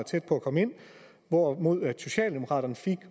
tæt på at komme ind hvorimod socialdemokraterne fik